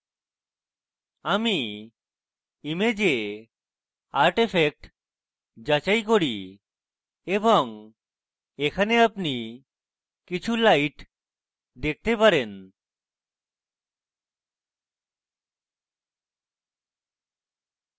আমি image art effects যাচাই করি এবং এখানে আপনি কিছু light দেখতে পারেন